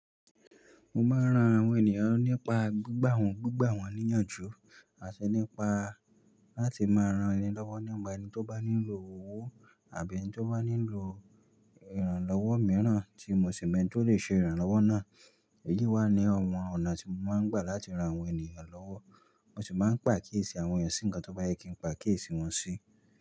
Mo máa ń ran àwọn ènìyàn nípa gbígbà wọ́n, gbígbà wọ́n níyànjú àti nípa láti máa ran ni lọ́wọ́ nípà ẹni tó bá nílò owó àbí ẹni tó bá nílò ìrànlọ́wọ́ mìíràn tí mo sì mọ̀ eni ti ó lè ṣe ìrànlọ́wọ́ náà. Èyí wà ní ọ̀wọ̀n ọ̀nà tí mo máa ń gbà láti ran àwọn ènìyàn lọ́wọ́, mo sì máa ń pa akiyèsì àwọn ènìyàn sí ǹkan tó bá yẹ kí n pa akiyèsì wọn sí.